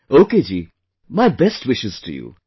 Ok ji, many best wishes to you